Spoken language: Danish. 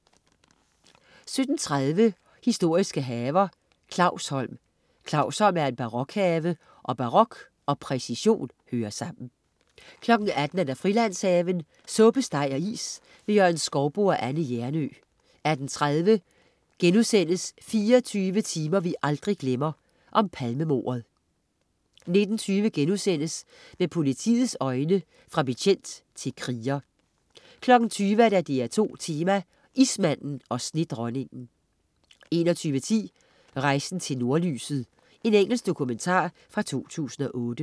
17.30 Historiske haver. Clausholm. Clausholm er en barokhave og barok og præcision hører sammen 18.00 Frilandshaven. Suppe, steg og is. Jørgen Skouboe og Anne Hjernøe 18.30 24 timer vi aldrig glemmer: Palmemordet* 19.20 Med politiets øjne: Fra betjent til kriger* 20.00 DR2 Tema: Ismanden og snedronningen 20.01 Rejsen til Nordlyset. Engelsk dokumentar fra 2008